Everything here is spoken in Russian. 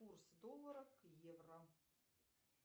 курс доллара к евро